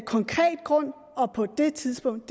konkret grund og på det tidspunkt